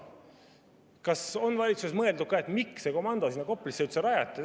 Kas valitsus on mõelnud, miks see komando sinna Koplisse üldse rajati?